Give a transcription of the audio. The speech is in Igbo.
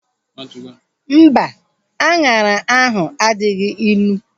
Mba, anyara ahu adịghị ịnụ